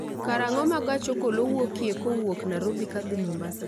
karang'o ma gach okolo wuokie kowuok nairobi kodhi mombasa